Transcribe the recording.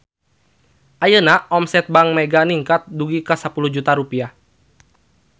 Ayeuna omset Bank Mega ningkat dugi ka 10 juta rupiah